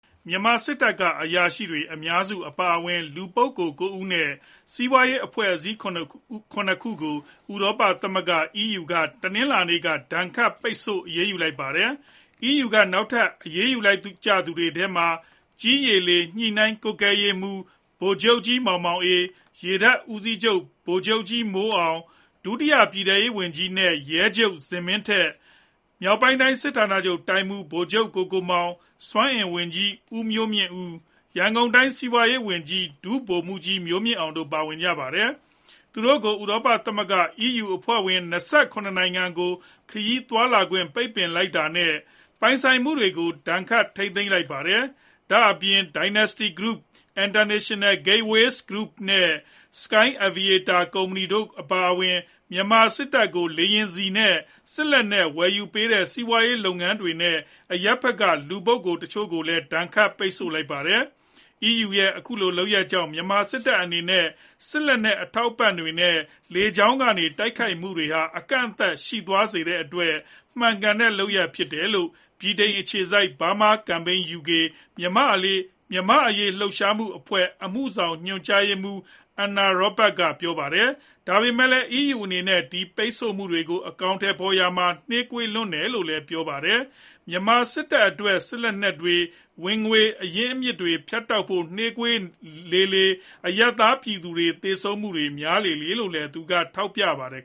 မြန်မာစစ်တပ်ကအရာရှိတွေအများစုအပါအဝင် လူပုဂ္ဂိုလ် ၉ ဦးနဲ့ စီးပွားရေးအဖွဲ့အစည်း ၇ ခုကို ဥရောပသမဂ္ဂ EU က တနင်္လာနေ့မှာ ဒဏ်ခတ်ပိတ်ဆို့အရေးယူလိုက်ပါတယ်။ EU က နောက်ထပ်အရေးယူလိုက်တဲ့သူတွေထဲမှာ ကြည်း၊ ရေ၊ လေ ညှိနှိုင်းကွပ်ကဲရေးမှူး ဗိုလ်ချုပ်ကြီး မောင်မောင်အေး၊ ရေတပ်ဦးစီးချုပ် ဗိုလ်ချုပ်ကြီး မိုးအောင်၊ ဒုတိယ ပြည်ထဲရေးဝန်ကြီးနဲ့ရဲချုပ် ဇင်မင်းထက်၊ မြောက်ပိုင်းတိုင်း စစ်ဌာနချုပ် တိုင်းမှူး ဗိုလ်ချုပ်ကိုကိုမောင်၊ စွမ်းအင်ဝန်ကြီး ဦးမျိုးမြင့်ဦး ၊ ရန်ကုန်တိုင်း စီးပွားရေးဝန်ကြီး ဒုဗိုလ်မှူးကြီးမျိုးမြင့်အောင် တို့ပါဝင်ကြပါတယ်။ သူတို့ကို ဥရောပသမဂ္ဂ EU အဖွဲ့ဝင် ၂၇ နိုင်ငံတွေကို ခရီးသွားလာခွင့်ပိတ်ပင်လိုက်တာနဲ့ ပိုင်ဆိုင်မှုတွေကိုထိန်းသိမ်း ဒဏ်ခတ်လိုက်ပါတယ်။ ဒါ့ပြင် Dynasty Group၊ International Gateways Group နဲ့ Sky Aviator Company တို့ အပါအဝင် မြန်မာစစ်တပ်ကို လေယာဉ်ဆီနဲ့ စစ်လက်နက်ဝယ်ယူပေးတဲ့ စီးပွားရေး လုပ်ငန်းတွေနဲ့ အရပ်ဘက်က လူပုဂ္ဂိုလ်တချို့ကိုလည်း ဒဏ်ခတ်ပိတ်ဆို့လိုက်ပါတယ်။ EU ရဲ့ အခုလိုလုပ်ရပ်ကြောင့် မြန်မာစစ်တပ်အနေနဲ့ စစ်လက်နက်အထောက်အပံ့တွေနဲ့ လေကြောင်းကနေ တိုက်ခိုက်နေမှုတွေဟာ အကန့်အသတ်ရှိသွားစေတဲ့အတွက် မှန်ကန်တဲ့လုပ်ရပ်ဖြစ်တယ်လို့ ဗြိတိန်အခြေစိုက် Burma Campaign UK မြန်မာ့အရေးလှုပ်ရှားမှုအဖွဲ့ အမှုဆောင်ညွှန်ကြားရေးမှူး Anna Roberts က ပြောပါတယ်။ ဒါပေမယ့်လည်း EU အနေနဲ့ ဒီပိတ်ဆို့မှုတွေကို အကောင်အထည်ဖော်ရာမှာ နှေးကွေးလွန်းတယ်လို့ပြောပါတယ်။ မြန်မာစစ်တပ်အတွက် စစ်လက်နက်တွေ ၊ ဝင်ငွေအရင်းအမြစ်တွေကို ဖြတ်တောက်ဖို့ နှေးကွေးတဲ့ ရလဒ်အနေနဲ့ ပြည်သူတွေရဲ့ အသက်တွေပေးဆပ်နေရတယ်လို့လည်း ထောက်ပြပါတယ်